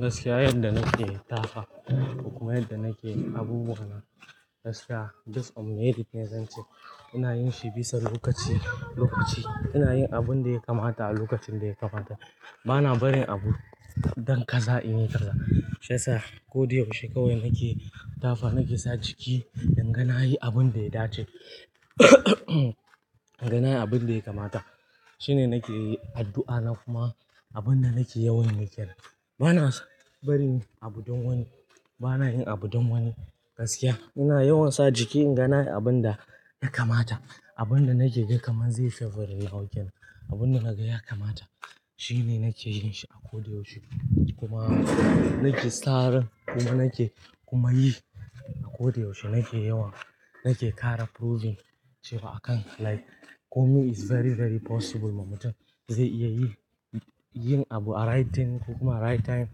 Gaskiya yadda nake tafa kuma yadda nake abubuwa na gaskiya, just on merit ne zan ce. Ina yin shi bisa lokaci lokaci. Ina yin abun da ya kamata a lokacin da ya kamata. Bana barin abu don kaza in yi kaza. Shiyasa ko da yaushe kawai nake tafa nake sa jiki inga na yi abun da ya dace. In ga na yi abin da ya kamata. Shine nake addu'a na kuma abin da nake yawan yi kenan. Bana barin abu don wani. Bana yin abu don wani. Gaskiya ina yawan sa jiki inga na yi abin da ya kamata. Abin da nake gan kamar zai favouring nawa kenan, abin da naga ya kamata shine nake yin shi a ko da yaushe. Kuma nake saren kuma nake, kuma yi a ko da yaushe. Nake yawan, nake kara proving cewa a kan, like, komi is very very possible ma mutum. Zai iya yi, yin abu a right thing ko kuma a right time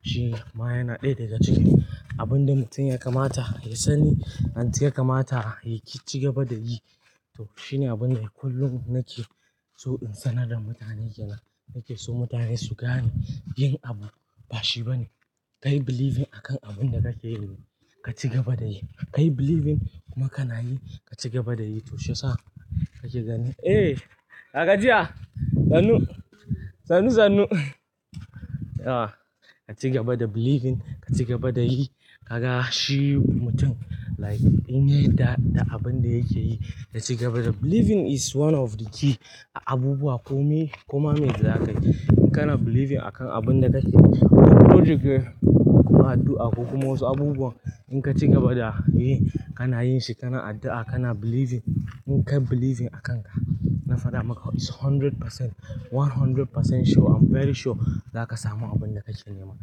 shine ma yana ɗaya daga cikin abun da mutum ya kamata ya sani. And ya kamata ya ci gaba da yi. Toh shine abun da kullum nake so in sanar da mutane kenan. Nake so mutane su gane yin abu ba shi bane. Kai believing akan abun da kake yi ka ci gaba da yi. Kai believing kuma kana yi ka ci gaba da yi. To shi yasa kake ganin Eh, ya gajiya? Sanu. Sanu sanu. Ah, ka cigaba da believing, ka cigaba da yi. Kaga shi mutum like in ya yada da abin da yake yi ya cigaba da. Believing is one of the key abubuwa kome kuma mai zakayi. In kana believing akan abun da kake, project kuma addu'a ko kuma wasu abubuwa in ka ci gaba da yi, kana yin shi, kana addu'a, kana believing. In kai believing akanka, na faɗa maka is hundred percent, one hundred percent sure. I'm very sure za ka samu abin da kake nema.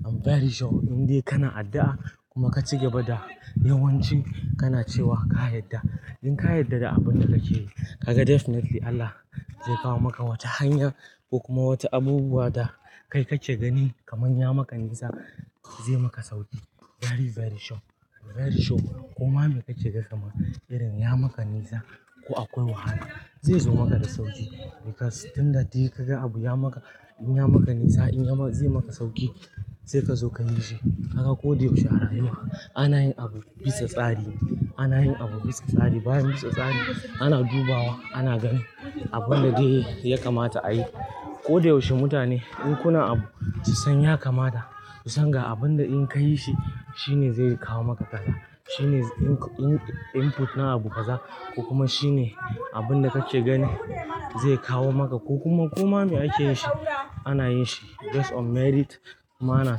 I'm very sure indai kana addu'a kuma ka cigaba da yawanci kana cewa ka yadda. In ka yadda da abin da kake yi, ka ga definitely Allah zai kawo maka wata hanya ko kuma wata abubuwa da kai ka ke ganin kamar ya maka nisa zai maka sauki. Very very sure. Very sure. Kuma me kake gan kamar irin ya maka nisa ko akwai wahala, zai zo maka da sauki. Because tun da dai kaga abu ya maka, in ya maka nisa in ya ma-- zai maka sauki sai ka sauka yi shi. Kaga ko da yaushe a rayuwa ana yin abu bisa tsari. Ana yin abu bisa tsari. Bayan bisa tsari. Ana dubawa, ana ganin abin da dai ya kamata a yi. Ko da yaushe mutane in kuna abu ku san ya kamata. Ku san ga abin da in ka yi shi shine zai kawo maka fala. Shine in-in-input na abu kaza ko kuma shine abin da kake gani zai kawo maka ko kuma, ko ma me ake yin shi ana yin shi just on merit. Ma ana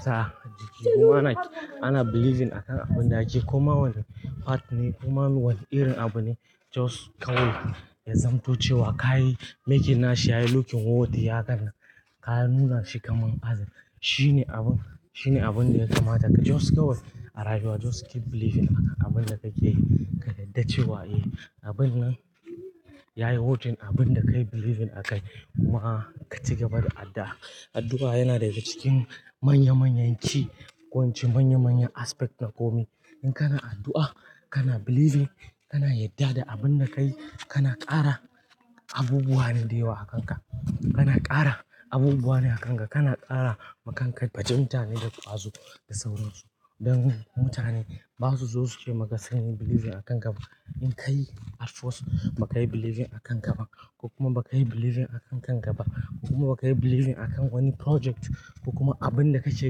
sa jiki kuma ana, ana believing akan abin da ake. Kuma wannan part ne kuma wani irin abu ne just kawai ya zamto cewa ka yi making na shi ya yi looking worthy hakan nan. Ka nuna shi kamar azin. Shine abu, shine abun da ya kamata ka just kawai a rayuwa just keep believing akan abin da kake yi. Ka yadda cewa "Eh, abun nan ya yi Worthing abin da kai believing a kai kuma ka cigaba da addu'a." Addu'a yana daga cikin manya manyan ci ko ince manya manyan aspect na komai. In kana addu'a, kana believing, kana yadda da abin da ka yi, kana ƙara abubuwa ne da yawa akanka. Kana ƙara abubuwa ne akanka. Kana ƙara makanka bajinta ne da ƙwazo da sauransu. Don mutane ba su zo su ce maka sunyi believing a kan ka. In ka yi at first ba ka yi believing akan ka ba ko kuma ba ka yi believing akan kanka ba ko kuma ba ka yi believing a kan wani project ko kuma abin da ka ke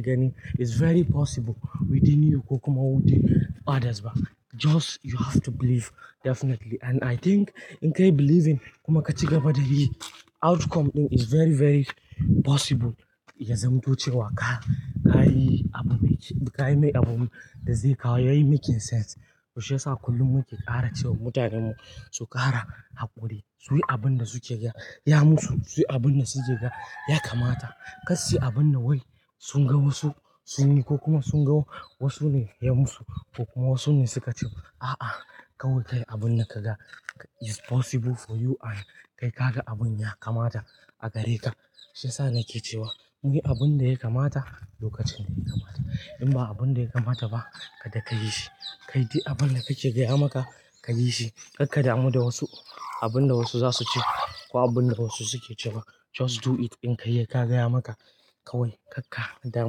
gani is very possible within you ko kuma within others ba. Just you have to believe definitely and I think in ka yi believing kuma ka cigaba da yi outcome din is very very possible ya zamto cewa ka, ka yi abu mai ci-- ka yi mai abu da zai kawo yayi making sense. To shi yasa kullum muke ƙara cewa mutanenmu su ƙara haƙuri. Su yi abin da suke ga ya musu. Su yi abin da suke gan ya kamata. Kar su yi abin da wai sun ga wasu sun yi ko kuma sun ga wasu ne ya musu ko kuma wasu ne suka ce wa. A'a, kawai ka yi abin da ka ga is possible for you and kai ka ga abun ya kamata a gare ka. Shi yasa nake cewa muyi abin da ya kamata lokacin da ya kamata. In ba abin da ya kamata ba kada ka yi shi. Ka yi dai abin da kake gan ya maka ka yi shi. Kar ka damu da wasu, abin da wasu za su ce ko abin da wasu suke cewa. Just do it. In ka yi ya ka gaya maka kawai kar ka damu.